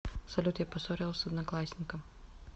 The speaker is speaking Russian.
салют я поссорилась с одноклассником